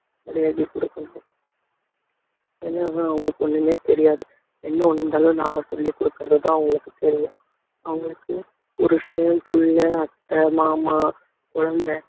மரியாதை குடுக்கணும் என்னன்னா அவங்களுக்கு ஒண்ணுமே தெரியாது என்ன ஒண்ணு இருந்தாலும் நாம சொல்லிக் கொடுக்கிறதுதான் அவங்களுக்குத் தெரியும் அவங்களுக்கு புருஷன் பிள்ளை அத்தை மாமா குழந்தை